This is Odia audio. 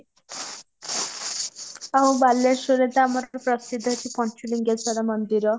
ଆଉ ବାଲେଶ୍ୱରରେ ତ ଆମର ପ୍ରସିଦ୍ଧ ଅଛି ପଞ୍ଚଲିଙ୍ଗେଶ୍ୱର ମନ୍ଦିର